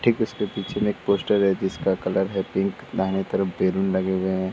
ठीक उसके पीछे एक पोस्टर हैं जिसका कलर है पिंक । दाहिने तरफ बलून लगे हुए हैं।